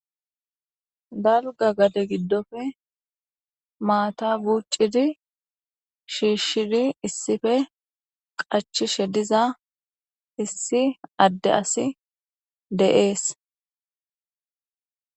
Tana keehippe iitishe dees ayssi giiko datay shammidaysse woyko issi giga baytey 20 ooththenna hayssa wosttiko lo7o ishshi.